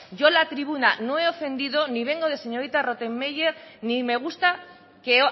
yo en la tribuna no he ofendido ni vengo de señorita rottenmeier ni me gusta que